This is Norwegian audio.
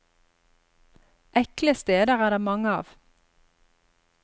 Ekle steder er det mange av.